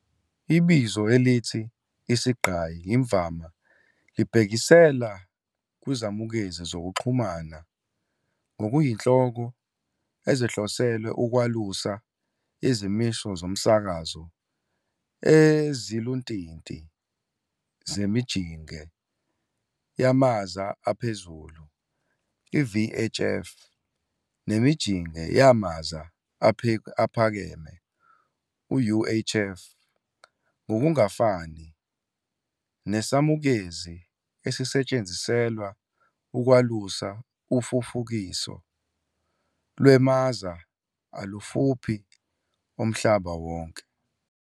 Ibizo elithi "isigqayi" imvama libhekisela kwizamukezi zokuxhumana ngokuyinhloko ezihloselwe ukwalusa izimiso zomsakazo eziluntinti zemijinge yamaza aphezulu VHF nemijinge yamaza aphakeme UHF, ngokungafani, nesamukezi esisetshenziselwa ukwalusa ufufukiso lwemaza alufuphi omhlaba wonke.